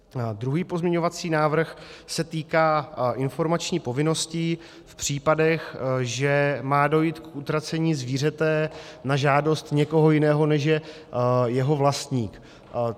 Druhý pozměňovací návrh se týká informační povinnosti v případech, že má dojít k utracení zvířete na žádost někoho jiného, než je jeho vlastník.